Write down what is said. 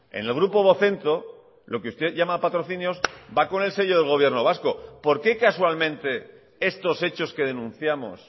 en el grupo vocento lo que usted llama patrocinios va con el sello del gobierno vasco por qué casualmente estos hechos que denunciamos